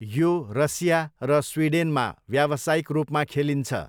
यो रसिया र स्विडेनमा व्यावसायिक रूपमा खेलिन्छ।